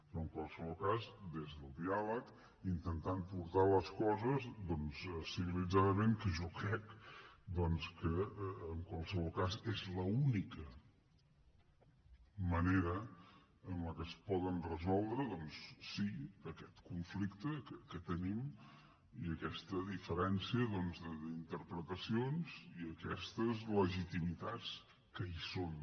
però en qualsevol cas des del diàleg intentant portar les coses civilitzadament que jo crec que és l’única manera en què es poden resoldre sí aquest conflicte que tenim i aquesta diferència d’interpretacions i aquestes legitimitats que hi són